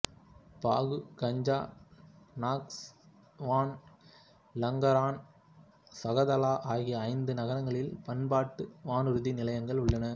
பாகு Ganja Nakhchivan Lankaran Zaqatala ஆகிய ஐந்து நகரங்களில் பன்னாட்டு வானூர்தி நிலையங்கள் உள்ளன